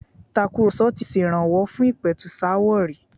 Ìtakurọ̀sọ ti ṣèrànwọ́ fún ìpẹ̀tùsááwọ̀ rí.